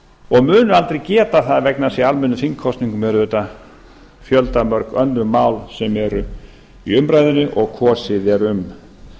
og munu aldrei geta það vegna þess að í almennum þingkosningum eru auðvitað fjöldamörg önnur mál sem eru í umræðunni og kosið er um